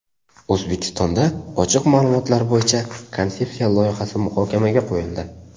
O‘zbekistonda Ochiq ma’lumotlar bo‘yicha konsepsiya loyihasi muhokamaga qo‘yildi.